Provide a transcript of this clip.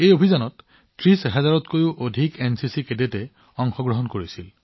এই অভিযানত ৩০০০০ তকৈও অধিক এনচিচি কেডেটে অংশগ্ৰহণ কৰিছিল